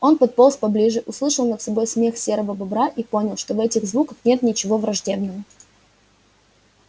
он подполз поближе услышал над собой смех серого бобра и понял что в этих звуках нет ничего враждебного